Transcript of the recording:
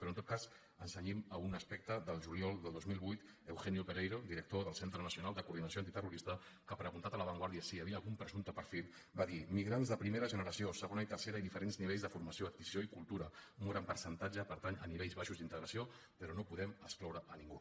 però en tot cas ens cenyim a un aspecte del juliol del dos mil vuit eugenio pereiro director del centre nacional de coordinació antiterrorista que preguntat a la vanguardia si hi havia algun presumpte perfil va dir migrants de primera generació segona i tercera i diferents nivells de formació adquisició i cultura un gran percentatge pertany a nivells baixos d’integració però no podem excloure a ningú